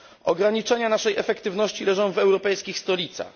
Ograniczenia naszej efektywności leżą w europejskich stolicach.